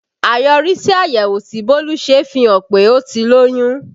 Àyọrísí àyẹ̀wò tí Bólú ṣe fihàn pé ó ti lóyún